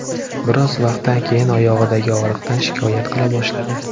Biroz vaqtdan keyin oyog‘idagi og‘riqdan shikoyat qila boshladi.